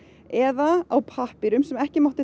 eða á pappír sem ekki mátti